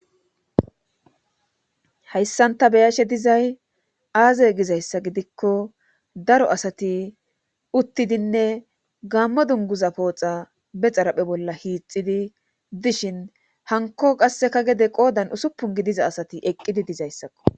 Hayssan ta beyashe dizay aaze gizayssa gidikko daro asati uttidinne gammo dunguza pooxa be xaraphe bolla hiixidi dishin hanko qasseka gede qoodan usuppun gidiza asati eqqidi dizayssakko.